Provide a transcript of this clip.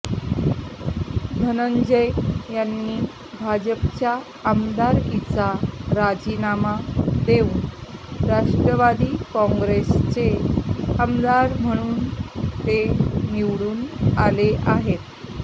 धनंजय यांनी भाजपच्या आमदारकीचा राजीनामा देऊन राष्ट्रवादी काँग्रेसचे आमदार म्हणून ते निवडून आले आहेत